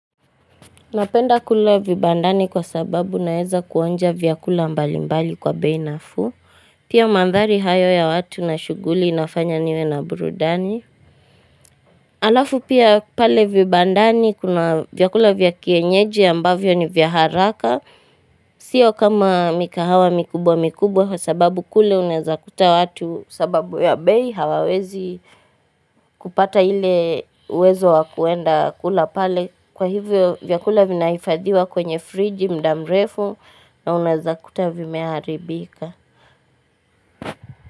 Napenda kula vibandani kwa sababu naeza kuonja vyakula mbali mbali kwa bei nafuu. Pia mandhari hayo ya watu na shughuli inafanya niwe na burudani. Alafu pia pale vibandani kuna vyakula vya kienyeji ambavyo ni vya haraka. Sio kama mikahawa mikubwa mikubwa kwa sababu kule unaeza kuta watu sababu ya bei hawawezi kupata ile uwezo wa kuenda kula pale. Kwa hivyo vyakula vinahifadhiwa kwenye friji muda mrefu na unaeza kuta vimeharibika.